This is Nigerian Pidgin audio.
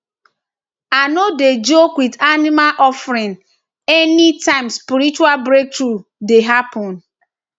i i no dey joke with animal offering anytime spiritual breakthrough dey happen